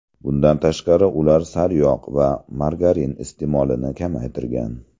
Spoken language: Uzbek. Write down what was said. Bundan tashqari, ular sariyog‘ va margarin iste’molini kamaytirgan.